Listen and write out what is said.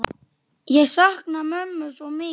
Ég sakna mömmu svo mikið.